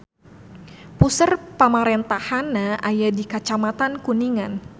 Puseur pamarentahanna aya di Kacamatan Kuningan.